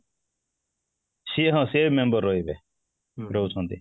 ସିଏ ହଁ ସିଏ member ରହିବ ରହୁଛନ୍ତି